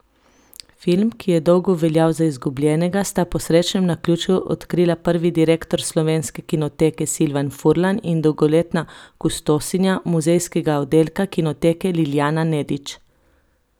Film, ki je dolgo veljal za izgubljenega, sta po srečnem naključju odkrila prvi direktor Slovenske kinoteke, Silvan Furlan, in dolgoletna kustosinja muzejskega oddelka Kinoteke Lilijana Nedič.